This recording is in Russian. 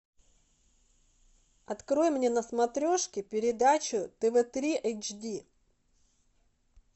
открой мне на смотрешке передачу тв три эйч ди